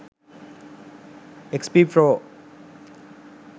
xp pro